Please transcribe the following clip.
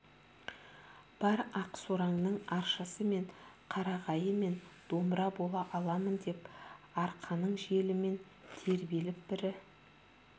бар ақсораңның аршасы мен қарағайы мен домбыра бола аламын деп арқаның желімен тербеліп бірі